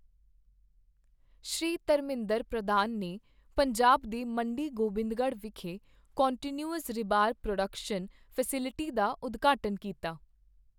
ਸ਼੍ਰੀ ਧਰਮਿੰਦਰ ਪ੍ਰਧਾਨ ਨੇ ਪੰਜਾਬ ਦੇ ਮੰਡੀ ਗੋਬਿੰਦਗੜ੍ਹ ਵਿਖੇ ਕੰਟੀਨਿਊਅਸ ਰਿਬਾਰ ਪ੍ਰੋਡਕਸ਼ਨ ਫੈਸਿਲਿਟੀ ਦਾ ਉਦਘਾਟਨ ਕੀਤਾ